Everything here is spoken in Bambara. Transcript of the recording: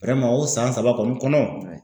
o san saba kɔni kɔnɔ